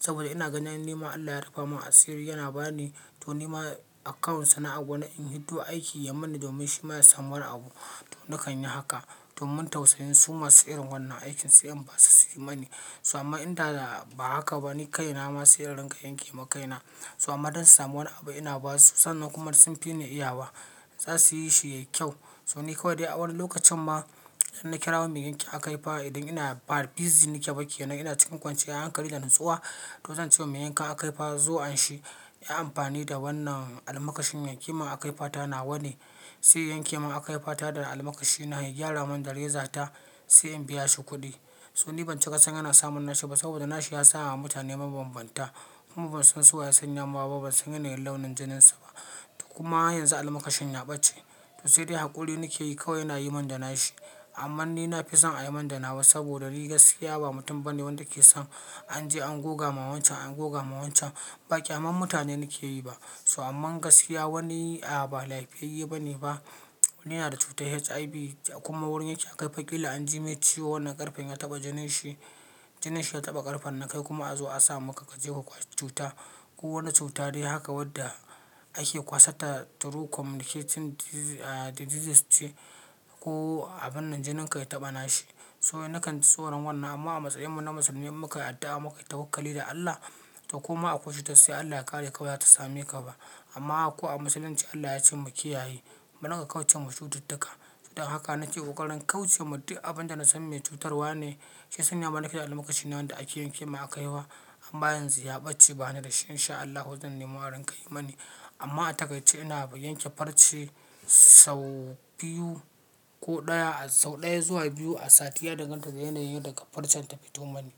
Saboda ina ganin nima Allah ya rufa min asiri, yana ba ni to nima account sana'an wani in hiddo aiki yi mani domin shi ma ya samu wani abu. To nakan yi haka domin tausayin suma irin wannan aikin sai in basu su yi mani. So amma idan da ba haka ba ni ka ina ma sai inrinƙa ka yanke ma kaina. So amma don su samu wani abu ina ba su sannan kuma sun fi ni iya wa za su yi shi ya yi kyau. So ni kawai dai a wani lokacin ma idan na kirawo mai yanke akaifa idan ina bar busy nike bake nan ina cikin kwanci yar hankali da natsuwa, to zan ce wa mai yankan akaifa zo an shi ya yi amfani da wannan almakashin ya n ke min akaifata nawa ne, sai ya yanke min akaifata da almakashi na, ya gyara min da rezata sai in biya shi kuɗi. So ni ban ci kasan yana samun nashi ba saboda nashi ya sa ma mutane mabanbanta kuma ban san su waye yasan mawa ba, ban san yanayin launin jinin su ba. Kuma yanzu almakashin ya ɓace. To sai dai haƙuri nake yi kawai yana yi min da nashi. Amman ni nafison ayimin da nawa saboda ni gaskiya ba mutum bane wanda keson anje angoga ma wancen angogama wancen ba ƙyaman mutane nakeyi ba so amman gaskiya wani a ba laifiyayi bane ba. Wani yana da cutar HIV kuma wurin yake akaifan ƙila an ji mai ciwo wannan ƙarfen ya taɓa jinin shi, jinin shi ya taɓa ƙarfen na kai kuma a zo a sa maka ka je ka kwashe cuta. Ko wani cuta dai haka wadda ake kwasarta through communicating di-ah diseases ce ko abin nan jinin ka ya taɓa nashi. So nakanji tsoron wannan amma a matsayin mu na musulmi muka yi addu'a muka yi ta wakkali da Allah to koma akwai cutar sai Allah ya kare kawai ba za ta same ka ba. Amma ko a musulunci Allah yace mu kiyaye. Mu riƙa ƙauce ma cututtuka. Don haka nake ƙoƙarin kauce ma duk abin da na san mai cutarwa ne. Shiyasan ya mana keda almakashi na wanda ake yanke min akaifa amma yan zu ya ɓace ba ni da shi in sha Allahu zan nemo arin ƙayi mani. Amma a takaice ina yanke farce sau biyu ko ɗaya sau ɗaya zuwa biyu a sati ya danganta da yanayin daga farcen ta fito mani.